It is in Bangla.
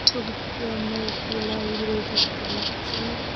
ছবিটিতে আমরা একটি লাইব্রেরি দেখতে পাচ্ছি।